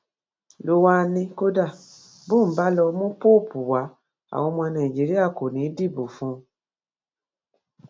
ló wáá ní kódà bóun bá lọọ mú póòpù wá àwọn ọmọ nàìjíríà kò ní í dìbò fún òun